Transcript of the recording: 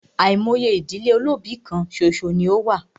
Àìmọye ìdílé olóbì kán ṣoṣo ní o wà.